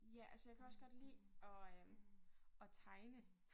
Ja altså jeg kan også godt lide at øh at tegne